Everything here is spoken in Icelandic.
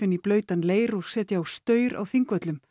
í blautan leir og setja á staur á Þingvöllum